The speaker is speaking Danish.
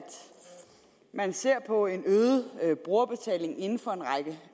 man ser på en øget brugerbetaling inden for